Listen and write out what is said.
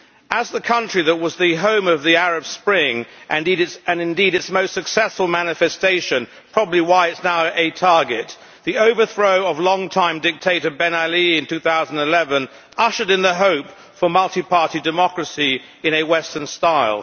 As the country that was the home of the Arab Spring and indeed its most successful manifestation probably why it is now a target the overthrow of long time dictator Ben Ali in 2011 ushered in the hope for multiparty democracy in a western style.